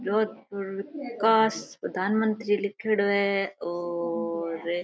जोधपुर में कास प्रधानमंत्री लिखोडो है और--